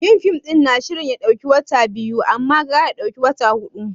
Yin fim ɗin na shirin ya ɗauki watanni biyu, amma gyara ya ɗauki wani hudu.